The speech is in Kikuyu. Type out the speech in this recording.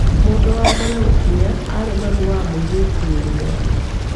Mũndũ wa mbere gũkinya arĩ mami wa mũirĩtu ũrĩa.